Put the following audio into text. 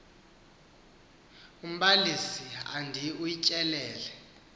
umbalisi andi utyelele